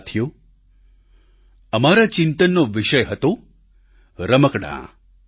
સાથીઓ આમારા ચિંતનનો વિષય હતો રમકડાં